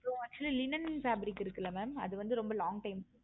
so actually linon fabric இருக்குல்ல mam அது வந்து ரொம்ப long time